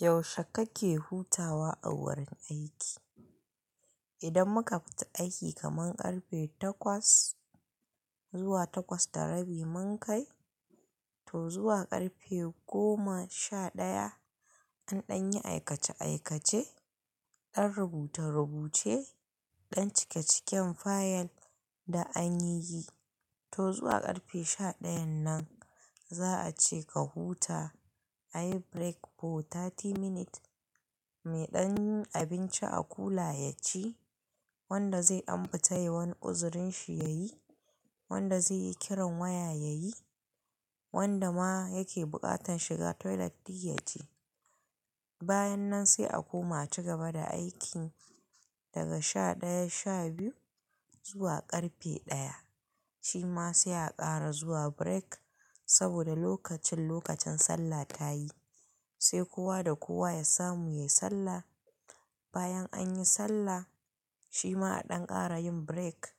Yaushe kake hutawa a wurin aiki? Idan muka fita aiki kaman karfe takwas zuwa takwas da rabi mun kai, to zuwa karfe goma sha daya an ɗanyi aikace aikace, dan rubute rubuce, an cike ciken fayil du anyiyyi, to zuwa karfe sha dayan nan za a ce ka huta ayi break fo 30 minute. Me dan yin abinci a kula ya ci, wanda zai dan futa yai wani uzurin shi ya yi, wanda zai yi kiran waya ya yi, wanda ma yake buƙatan shiga toilet du ya je. Bayan nan sai a koma a cigaba da aiki daga sha ɗaya sha biyu zuwa karfe ɗaya. Shi ma sai a ƙara zuwa break saboda lokacin lokacin sallah ta yi, sai kowa da kowa ya samu yai sallah. Bayan anyi sallah, shi ma a ɗan ƙara yin break.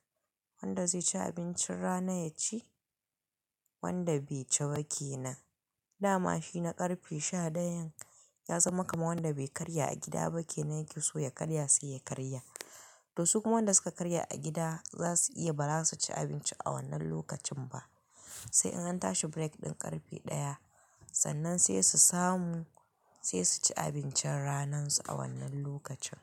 Wanda zai ci abincin rana ya ci, wanda bai ci ba kenan. Dama shi na karfe sha dayan ya zama kaman wanda bai karya a gida ba kenan yake so ya karya sai ya karya. To su kuma wanda suka karya a gida za su iya bara su ci abinci a wannan lokacin ba. Sai in an tashi break ɗin karfe ɗaya, sannan sai su samu sai su ci abincin ranan su a wannan lokacin.